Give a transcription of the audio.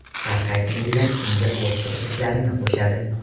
Har qaysi millat unga o‘z qiziqishlarini qo‘shadi.